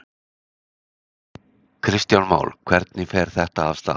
Kristján Már: Og hvernig fer þetta af stað?